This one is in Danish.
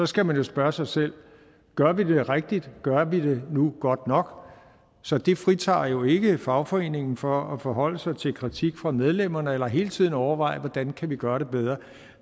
skal man jo spørge sig selv gør vi det rigtigt og gør vi det nu godt nok så det fritager jo ikke fagforeningerne for at forholde sig til en kritik fra medlemmerne eller hele tiden overveje hvordan de kan gøre det bedre og